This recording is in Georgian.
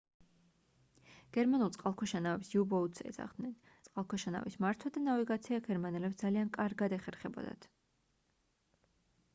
გერმანულ წყალქვეშა ნავებს u-boats ეძახდნენ წყალქვეშა ნავის მართვა და ნავიგაცია გერმანელებს ძალიან კარგად ეხერხებოდათ